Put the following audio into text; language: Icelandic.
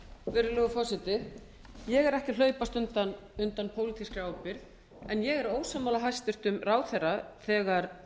virðulegur forseti ég er ekki að hlaupast undan pólitískri ábyrgð en ég er ósammála hæstvirtur ráðherra þegar